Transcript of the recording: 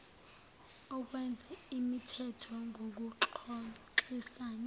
okwenza imithetho ngokuxoxisana